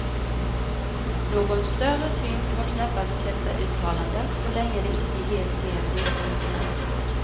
Någon större tyngd har knappast detta uttalande, så länge det inte ges mer underbyggnad.